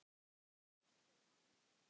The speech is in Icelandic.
Svona gera menn ekki